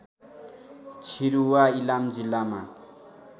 छिरूवा इलाम जिल्लामा